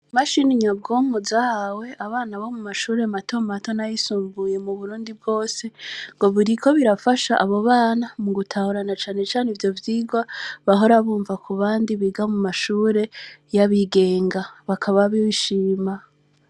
Mashini nyabwomu zahawe abana bo mu mashure matomu matona yisumbuye mu burundi bwose ngo buriko birafasha abo bana mu gutahurana canecane ivyo vyigwa bahora bumva ku bandi biga mu mashure y'abigenga bakaba bishima.